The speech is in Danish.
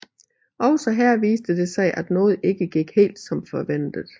Også her viste det sig at noget ikke gik helt som ventet